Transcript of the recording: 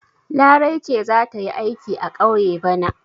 Larai ce za ta yi aiki a ƙauye bana.